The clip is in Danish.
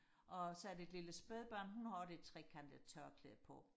og så er der et lille spædbarn hun har også et trekantet tørklæde på